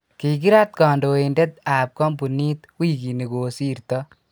kikirat kandoiteb ab kampunit wikini kosirto